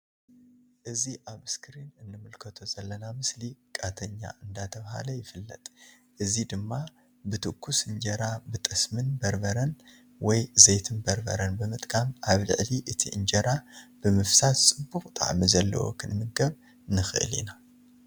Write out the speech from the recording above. እዚ ኣብ እስክሪን እንምልከቶ ዘለና ምስሊ ቃጢና እንዳተብሃለ ይፍለጥ። እዚ ድማ ብ ቱኩስ እንጀራ ብ ጠስምን በርበርን ወይ ዘይትን በርበረን ብምጥቃም ኣብ ልዕሊ እቲ እንጀራ ብምፍሳስ ጽቡቅ ጣዕሚ ዘለዎ ክንምገብ ንክእል ኢና።